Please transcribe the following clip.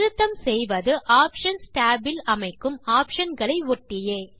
திருத்தம் செய்வது options tab இல் அமைக்கும் ஆப்ஷன் களை ஒட்டியே